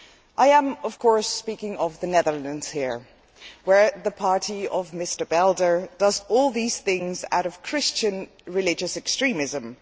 I am of course speaking of the Netherlands here, where the party of Mr Belder does all these things out of Christian religious extremism.